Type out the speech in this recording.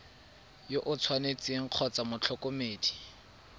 yo o tshwanetseng kgotsa motlhokomedi